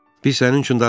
Biz sənin üçün darıxmışıq.